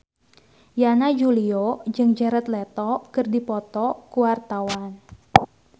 Yana Julio jeung Jared Leto keur dipoto ku wartawan